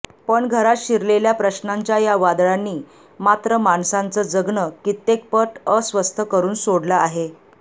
पण घरात शिरलेल्या प्रश्नांच्या या वादळांनी मात्र माणसांचं जगणं कित्येकपट अस्वस्थ करुन सोडलं आहे